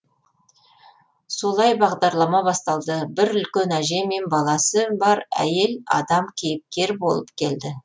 солай бағдарлама басталды бір үлкен әже мен баласы бар әйел адам кейіпкер болып келді